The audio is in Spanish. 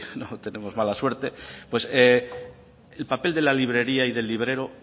no tenemos mala suerte pues el papel de la librería y del librero